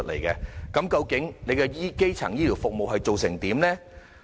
究竟政府推行基層醫療服務的情況如何？